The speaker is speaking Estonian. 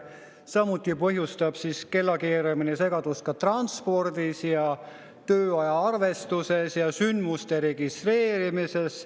Samuti põhjustab kellakeeramine segadust transpordis, tööaja arvestuses ja sündmuste registreerimises.